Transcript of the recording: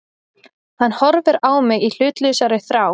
Hann horfir á mig í hlutlausri þrá.